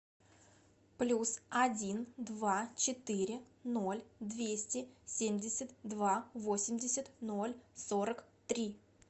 плюс один два четыре ноль двести семьдесят два восемьдесят ноль сорок три